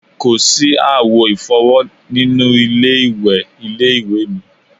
Kò sí àwo ìfọ́wọ́ nínú ilé ilé-ìwẹ̀ ilé-ìwé mi